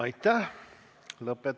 Aitäh!